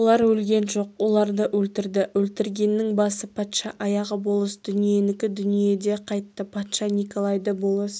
олар өлген жоқ оларды өлтірді өлтіргеннің басы патша аяғы болыс дүниенікі дүниеде қайтты патша николайды болыс